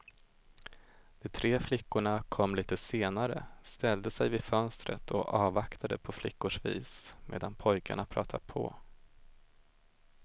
De tre flickorna kom lite senare, ställde sig vid fönstret och avvaktade på flickors vis medan pojkarna pratade på.